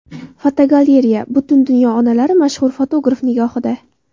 Fotogalereya: Butun dunyo onalari mashhur fotograf nigohida.